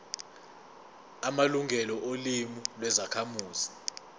amalungelo olimi lwezakhamuzi